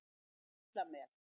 Litla Mel